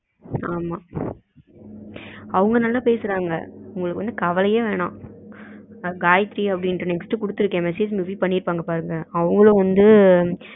ஆமா அவங்களுக்கு எல்லாம் எப்டி தீடிருன்னு பேசுவாங்க அவங்க நல்லா பேசுறாங்க உங்களுக்கு வந்து கவலையே வேணாம். காயத்ரினு next குடுத்துருக்கேன் message receive பண்ணிருப்பாங்க பாருங்க அவங்களும் வந்து